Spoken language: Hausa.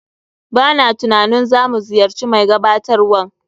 B a na tunanin za mu ziyarci mai gabatarwan.